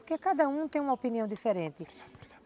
Porque cada um tem uma opinião diferente.